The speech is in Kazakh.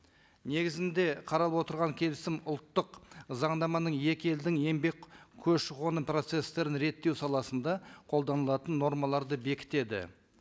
негізінде қаралып отырған келісім ұлттық заңнаманың екі елдің еңбек көші қоны процесстерін реттеу саласында қолданылатын нормаларды бекітеді